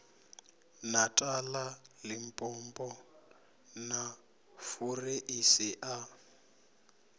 natala limpopo na fureisi a